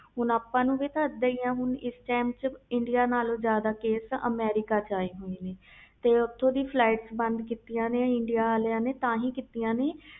ਹੁਣ ਆਪਾ ਨੂੰ ਵੀ ਇਹਦਾ ਹੀ ਆ ਇੰਡੀਆ ਨਾਲੋਂ ਕੇਸ ਜਿਆਦਾ ਅਮਰੀਕਾ ਵਿਚ ਆਏ ਹੋਏ ਨੇ ਤੇ ਓਥੋਂ ਦੀਆ flights ਬੰਦ ਕੀਤੀਆਂ ਨੇ ਇੰਡੀਆ ਵਾਲੇ ਨੇ